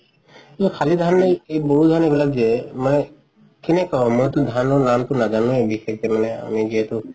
খালি ধান এই বড়ো ধান এইবিলাক যে মানে কেনেকে কম মইটো ধানৰ নামটো নাজানোৱে বিশেষকে মানে আমি যিহেতো